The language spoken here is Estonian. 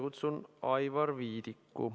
Kutsun Aivar Viidiku.